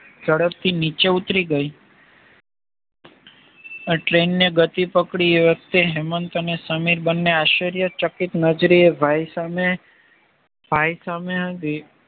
ઝડપથી નીચે ઉતારી ગઈ . આ ટ્રેને ગતિ પકડી એ વખતે હેમંત અને સમીર બને આશ્ચર્ય ચકિત નજરે એ ભાઈ સામે ભાઈ સામે